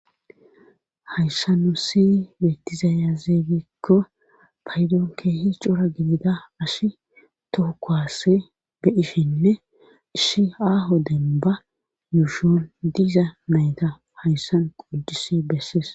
Hayssa nu si bettizaya ziigikko paydoon keehi cora gidida ash toho kuwase beyishinne ishi aaho denba yuushon diza nayta hayssan qoddis bessis.